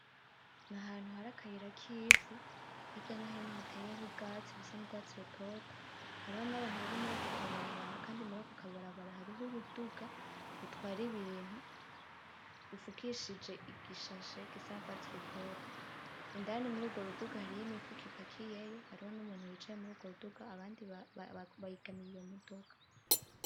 Ni ahantu hari akayira kivu hirya no hino hateyeho ubwatsi busa n'ugwatsi rutoto hariho n'abantu bari muri ako kabarabara kandi muri ako kabarabara hariho uruduga rutwara ibintu rufukishije igishashe gisa n'ugwatsi rutoto kandi murugwo ruduga hariho imifuko ipakiyeyo hariho n'umuntu yicaye muri ugwo ruduga abandi begamiye iyo modoka.